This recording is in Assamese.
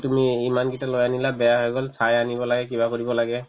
এই তুমি ইমান কেইটা লৈ আনিলা বেয়া হৈ গ'ল চাই আনিব লাগে কিবা কৰিব লাগে